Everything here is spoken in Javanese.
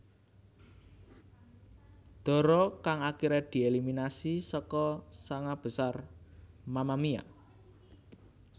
Dara kang akiré dieliminasi saka sanga besar Mamamia